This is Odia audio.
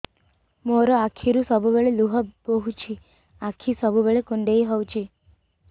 ମୋର ଆଖିରୁ ସବୁବେଳେ ଲୁହ ବୋହୁଛି ଆଖି ସବୁବେଳେ କୁଣ୍ଡେଇ ହଉଚି